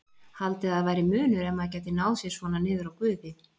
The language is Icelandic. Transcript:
Haldið að væri munur ef maður gæti náð sér svona niður á Guði?